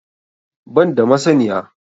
Ban da masaniya